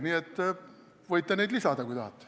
Nii et võite neid lisada, kui tahate.